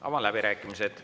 Avan läbirääkimised.